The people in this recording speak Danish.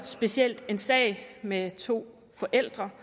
specielt en sag med to forældre